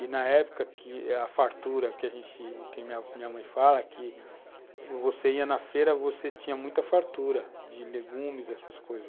E na época que a fartura que a minha mãe fala, que você ia na feira, você tinha muita fartura de legumes, essas coisas.